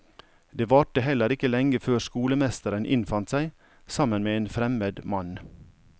Det varte heller ikke lenge før skolemesteren innfant seg, sammen med en fremmed mann.